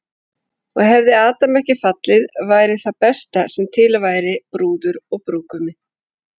Og hefði Adam ekki fallið væri það besta sem til væri, brúður og brúðgumi.